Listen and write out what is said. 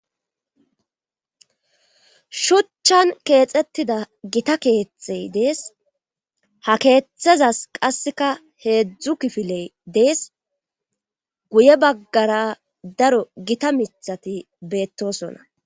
Shuchan keexettida gita keetthey dees ha keethethezas qasseka heedzdzu kifiley dees guye baggara daro gita mithati beettosonna.